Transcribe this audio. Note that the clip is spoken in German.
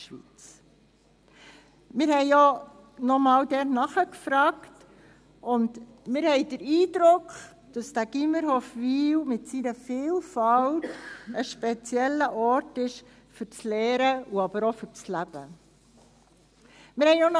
Wir haben dort nochmals nachgefragt und haben den Eindruck, dass das Gymnasium Hofwil mit seiner Vielfalt ein spezieller Ort für das Lernen, aber auch für das Leben ist.